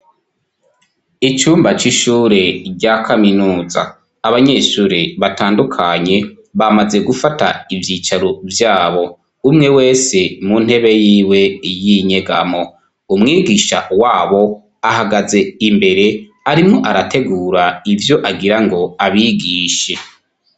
Icumba c'ishure rya kaminuza, abanyeshure batandukanye bamaze gufata ivyicaro vyabo, umwe wese mu ntebe yiwe y'inyegamo, umwigisha wabo ahagaze imbere arimwo arategura ivyo agira ngo abigishe.